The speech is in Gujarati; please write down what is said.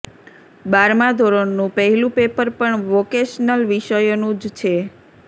બારમા ધોરણનું પહેલું પેપર પણ વોકેશનલ વિષયોનું જ છે